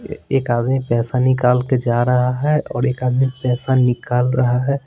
एक आदमी पैसा निकाल के जा रहा है और एक आदमी पैसा निकाल रहा है।